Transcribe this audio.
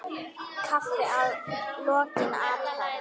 Kaffi að lokinni athöfn.